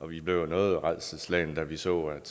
vi blev noget rædselsslagne da vi så at